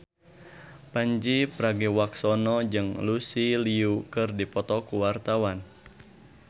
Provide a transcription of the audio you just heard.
Pandji Pragiwaksono jeung Lucy Liu keur dipoto ku wartawan